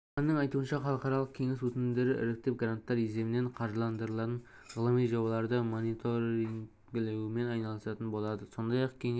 маманның айтуынша халықаралық кеңес өтінімдерді іріктеп гранттар есебінен қаржыландырылатын ғылыми жобаларды мониторингілеумен айналысатын болады сондай-ақ кеңес